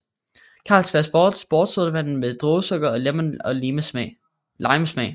Carlsberg Sport sportssodavand med druesukker og lemon og lime smag